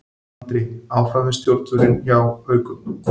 Andri áfram við stjórnvölinn hjá Haukum